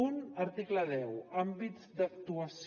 un article deu àmbits d’actuació